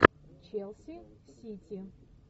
челси сити